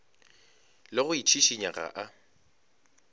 le go itšhišinya ga a